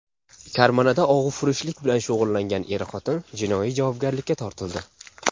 Karmanada og‘ufurushlik bilan shug‘ullangan er-xotin jinoiy javobgarlikka tortildi .